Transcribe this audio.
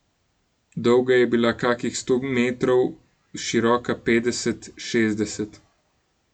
Dolga je bila kakih sto metrov, široka petdeset, šestdeset.